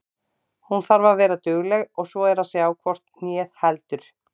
Hún þarf að vera dugleg og svo er að sjá hvort hnéð heldur.